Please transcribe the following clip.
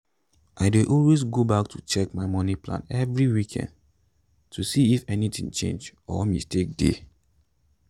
i dey always go back to check my moni plan every weekend to see if anything change or mistake dey.